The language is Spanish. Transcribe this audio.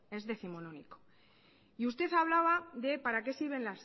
es décimonónico y usted hablaba de para qué sirven